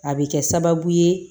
A bɛ kɛ sababu ye